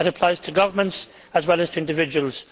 That applies to governments as well as to individuals.